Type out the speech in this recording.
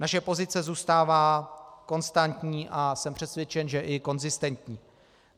Naše pozice zůstává konstantní a jsem přesvědčen, že i konzistentní.